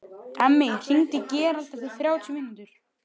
Emmý, hringdu í Gerald eftir þrjátíu mínútur.